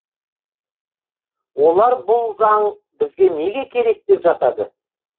олар бұл заң бізге неге керек деп жатады